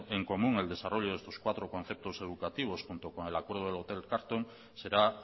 en común el desarrollo de sus cuatro conceptos educativos junto con el acuerdo del hotel carlton será